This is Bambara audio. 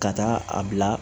Ka taa a bila